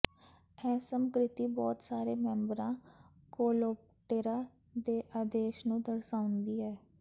ਇਹ ਸਮਕ੍ਰਿਤੀ ਬਹੁਤ ਸਾਰੇ ਮੈਂਬਰਾਂ ਕੋਲਓਪਟੇਰਾ ਦੇ ਆਦੇਸ਼ ਨੂੰ ਦਰਸਾਉਂਦੀ ਹੈ